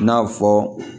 I n'a fɔ